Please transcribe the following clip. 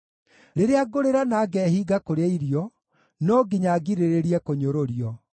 Rĩrĩa ngũrĩra na ngehinga kũrĩa irio, no nginya ngirĩrĩrie kũnyũrũrio;